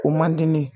O man di ne ye